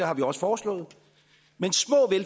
har vi også forslået